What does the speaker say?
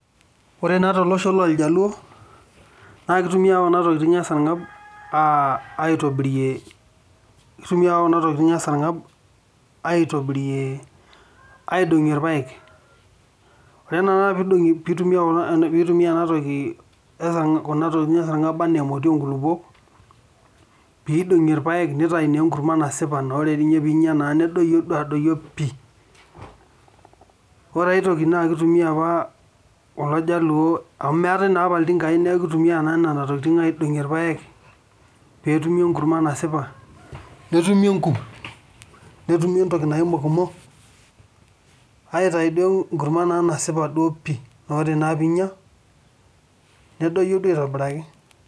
ore naa tolosho loorjaluo naa keitumiai kuna tukiting' ee sarng'ab aitobirie keitumiai kuna tokiting' ee sarng'ab aitobirie aidong'ie irpaek ore naa peitumia ena toki kuna tokiting' ee sarng'ab enaa emoti oo nkulukuok pee eidong'ie irpaek neitayuni enkurma nasipa naa ore inya naa nedoyio adoyio pii ore aitoki naa keitumia apa kulo jaluo amu meetae naa apa iltingai neeku keitumia naa nena tokiting' naidong'ie ipayek peetumi enkurma nasipa netumi inkuk netumi entoki naii enkokomo aitai duo enkurma naa nasipa duo pii ore naa piinya nedoyio duo aitobiraki..